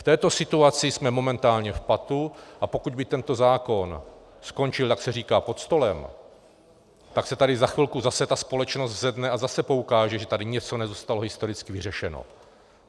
V této situaci jsme momentálně v patu, a pokud by tento zákon skončil, jak se říká, pod stolem, tak se tady za chvilku zase ta společnost zvedne a zase poukáže, že tady něco nezůstalo historicky řešeno.